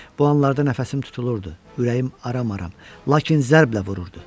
Bu anlarda nəfəsim tutulurdu, ürəyim aram-aram, lakin zərblə vururdu.